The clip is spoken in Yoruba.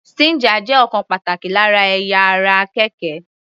Stinger jẹ́ ọ̀kan pàtàkì lára ẹ̀yà ara àkekè.